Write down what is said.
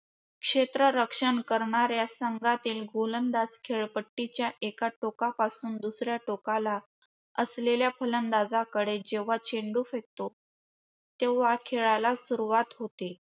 क्षेत्ररक्षण करणाऱ्या संघातील गोलंदाज खेळपट्टीच्या एका टोकापासून दुसऱ्या टोकाला असलेल्या गोलंदाजाकडे जेव्हा चेंडू फेकतो तेव्हा खेळाला सुरुवात होते.